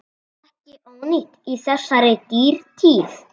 Ekki ónýtt í þessari dýrtíð.